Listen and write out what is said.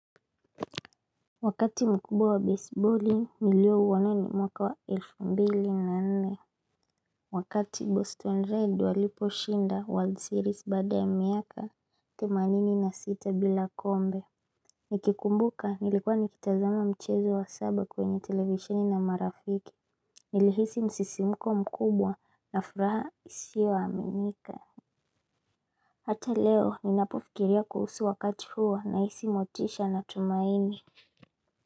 Wakati mkubwa wa baseballing niliouona mwaka wa elfu mbili na nne. Wakati boston red waliposhinda world series baada ya miaka themanini na sita bila kombe. Nikikumbuka nilikuwa nikitazama mchezo wa saba kwenye televisheni na marafiki. Nilihisi msisimuko mkubwa na furaha isio aminika. Hata leo ninapofikiria kuhusu wakati huo nahisi motisha na tumaini.